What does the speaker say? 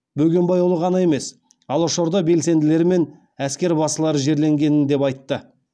бөгембайұлы ғана емес алашорда белсенділері мен әскербасылар жерленгенін деп айтты